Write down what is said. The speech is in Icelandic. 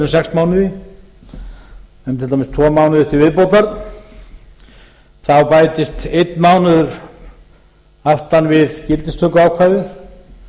sex mánuði um til dæmis tvo mánuði til viðbótar þá bætist einn mánuður aftan við gildistökuákvæðið